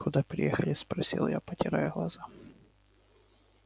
куда приехали спросил я протирая глаза